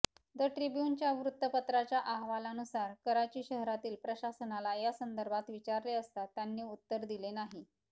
the ट्रिब्यूनच्या वृत्तपत्राच्या अहवालानुसार कराची शहरातील प्रसाशनाला यासंदर्भात विचारले असता त्यांनी उत्तर दिले नाही